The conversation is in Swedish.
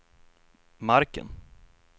marken